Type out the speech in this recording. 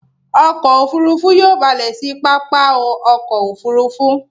Ọkọ̀ òfurufú yóò balè sí pápá ọkọ̀ òfurufú.